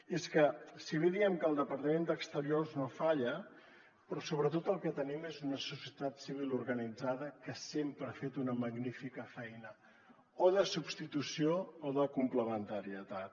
i és que si bé diem que el departament d’exteriors no falla però sobretot el que tenim és una societat civil organitzada que sempre ha fet una magnífica feina o de substitució o de complementarietat